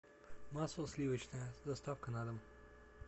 масло сливочное с доставкой на дом